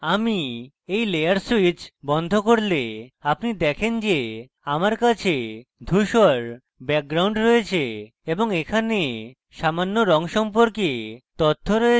আমি when layer switch বন্ধ করলে আপনি দেখেন যে আমার কাছে ধূসর background রয়েছে এবং এখানে সামান্য রঙ সম্পর্কে তথ্য রয়েছে